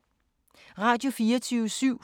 Radio24syv